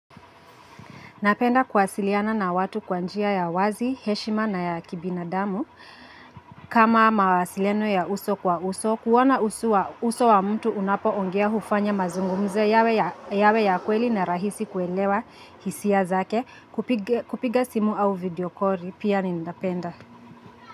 Napenda kuwasiliana na watu kwanjia ya wazi, heshima na ya kibina damu. Kama mawasiliano ya uso kwa uso, kuona uso wa mtu unapo ongea hufanya mazungumzo yawe ya kweli na rahisi kuelewa hisia zake kupiga simu au videokori pia nindapenda.